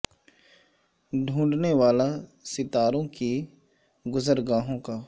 ڈھو نڈ نے والا ستا رو ں کی گز ر گا ہوں کا